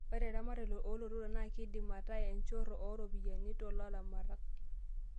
Ore eramatare oo lotorok naa keidim ataa enchorro oo ropiyiani to laramatak